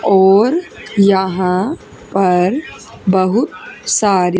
ओर यहां पर बहुत सारी--